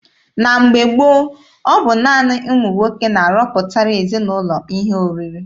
Na mgbe gboo, ọ bụ naanị ụmụ nwoke na-arọpụtara ezinaụlọ ihe oriri.